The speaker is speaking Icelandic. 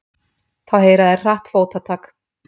Þá heyra þeir hratt fótatak.